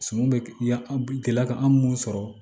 Sunun bɛ ya an gɛlɛya ka an mun sɔrɔ